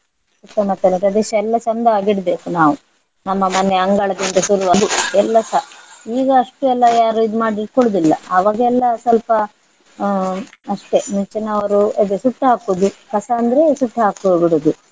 ಸುತ್ತಮುತ್ತಲಿನ ಪ್ರದೇಶ ಎಲ್ಲ ಚಂದ ಆಗಿ ಇಡ್ಬೇಕು ನಾವು. ನಮ್ಮ ಮನೆ ಅಂಗಳದಿಂದ ಶುರುವಾಗಿ ಎಲ್ಲಸ ಈಗ ಅಷ್ಟು ಎಲ್ಲ ಯಾರು ಇದ್ ಮಾಡಿ ಕೊಡುದಿಲ್ಲ. ಆವಾಗ ಎಲ್ಲ ಸ್ವಲ್ಪ ಹಾ ಅಷ್ಟೇ ಮುಂಚಿನವರು ಅದು ಸುಟ್ಟು ಹಾಕುದು ಕಸ ಅಂದ್ರೆ ಸುಟ್ಟು ಹಾಕು ಬಿಡುದು.